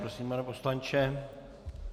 Prosím, pane poslanče.